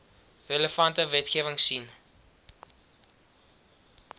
relevante wetgewing sien